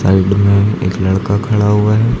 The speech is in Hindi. साइड में एक लड़का खड़ा हुआ है।